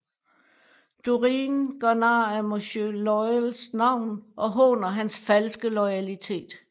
Dorine gør nar af Monsieur Loyals navn og håner hans falske loyalitet